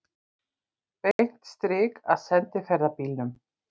Beint strik að sendiferðabílnum.